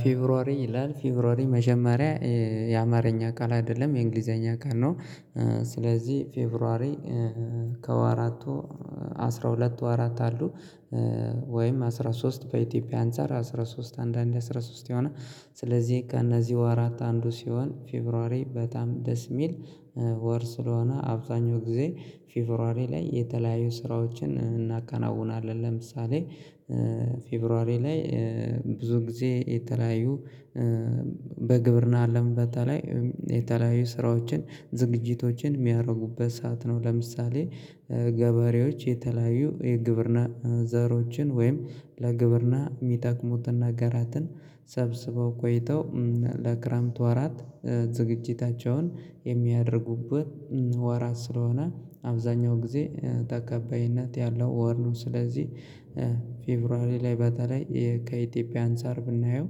ፌብሩዋሪ ይላል ፌብሩዋሪ መጀመሪያ የአማርኛ ቃል አይደለም የእንግሊዘኛ ቃል ነው። ስለዚህ ፌቭሩዋሪ ከወራቱ አስራ ሁለት ወራት አሉ። ወይም አስራ ሶስት በኢትዮጵያ አንፃር አስራ ሶስት አንዳንድ አስራ ሶስት የሆነ ስለዚህ ከእነዚህ ወራት አንዱ ሲሆን ፌብሩዋሪ በጣም ደስ የሚል ወር ስለሆነ አብዛኛው ጊዜ ፌብሩዋሪ ላይ የተለያዩ ስራዎችን እናከናውናለን ለምሳሌ ፌብሩዋሪ ላይ ብዙ ጊዜ የተለያዩ በግብርና አለም በተለይ የተለያዩ ስራዎችን ዝግጅቶችን የሚያደርጉበት ሰዓት ነው። ለምሳሌ ገበሬዎች የተለያዩ የግብርና ዘሮችን ወይም ለግብርና የሚጠቅሙትን ነገራትን ሰብስበው ቆይተው ለክረምት ወራት ዝግጅታቸውን የሚያደርጉበት ወራት ስለሆነ አብዛኛው ጊዜ ተቀባይነት ያለው ወር ነው። ስለዚህ ፌቨርዌር ላይ በተለይ ከኢትዮጵያ አንፃር ብናየው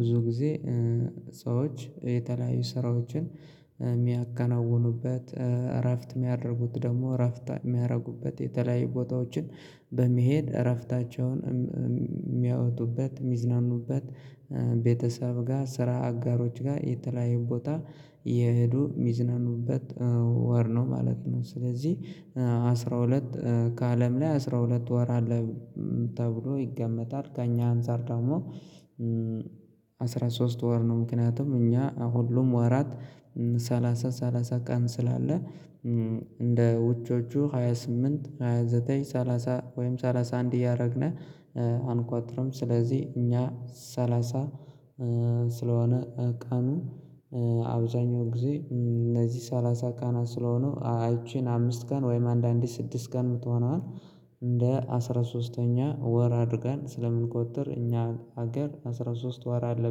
ብዙ ጊዜ ሰዎች የተለያዩ ስራዎችን የሚያከናውኑበት እረፍት የሚያደርጉት ደግሞ እረፍት የሚያደርጉበት የተለያዩ ቦታዎችን በመሄድ እረፍታቸውን የሚያወጡበት የሚዝናኑበት ቤተሰብ ጋር ስራ አጋሮች ጋር የተለያየ ቦታ እየሄዱ የሚዝነኑበት ወር ነው ማለት ነው። ስለዚህ አስራ ሁለት ከአለም ላይ አስራ ሁለት ወር አለ ተብሎ ይገመታል ከእኛ አንፃር ደግሞ አስራ ሶስት ወር ነው። ምክንያቱም እኛ ሁሉም ወራት ሰላሳ ሰላሳ ቀን ስላለ እንደ ውጮቹ ሃያ ስምንት ሃያ ዘጠኝ ሰላሳ ወይም ሰላሳ አንድ እያደረግነ አንቆቆርም። ስለዚህ እኛ ሰላሳ ስለሆነ ቀኑ አብዛኛው ጊዜ እነዚህ ሰላሳ ቃናት ስለሆኑ ይቺን አምስት ቀን ወይም አንዳንዴ ስድስት ቀን ምትሆነዋን እንደ አስራ ሶስተኛ ወር አድርገን ስለምንቆጥር እኛ ሀገር አስራ ሶስት ወር አለ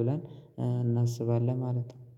ብለን እናስባለን ማለት ነው።